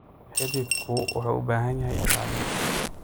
Xididku wuxuu u baahan yahay ilaalin.